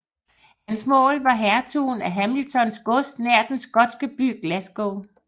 Hans mål var hertugen af Hamiltons gods nær den skotske by Glasgow